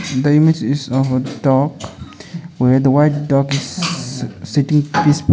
the image is of a duck where the white duck is-s sitting peacefully.